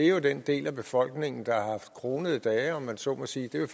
er jo den del af befolkningen der har haft kronede dage om man så må sige det er